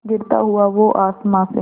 गिरता हुआ वो आसमां से